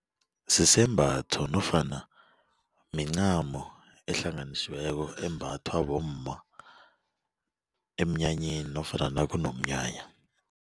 Sisembatho nofana mincamo ehlanganisiweko embathwa bomma emnyanyeni nofana nakunomnyanya.